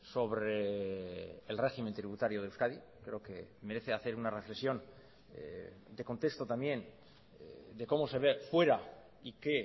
sobre el régimen tributario de euskadi creo que merece hacer una reflexión de contexto también de cómo se ve fuera y qué